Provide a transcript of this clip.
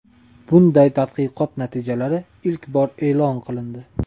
Bunday tadqiqot natijalari ilk bor e’lon qilindi .